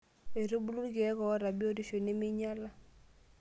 Oitubulu irkiek ooata biotisho neimeinyiala.